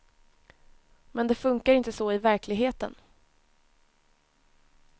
Men det funkar inte så i verkligheten.